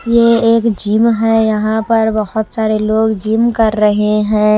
ये एक जिम है यहां पर बहुत सारे लोग जिम कर रहे हैं।